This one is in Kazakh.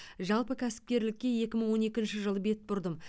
жалпы кәсіпкерлікке екі мың он екінші жылы бет бұрдым